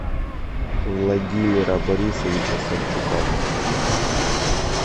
владимира борисовича савчука